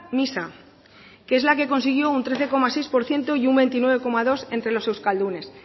misa que es la consiguió un trece coma seis por ciento y un veintinueve coma dos entre los euskaldunes